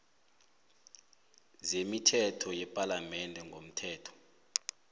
zemithetho yepalamende ngomthetho